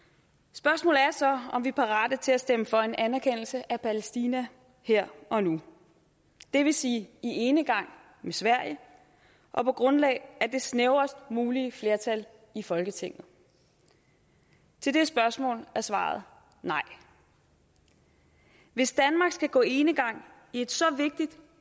spørgsmålet er så om vi er parate til at stemme for en anerkendelse af palæstina her og nu det vil sige i enegang med sverige og på grundlag af det snævrest mulige flertal i folketinget til det spørgsmål er svaret nej hvis danmark skal gå enegang i et så vigtigt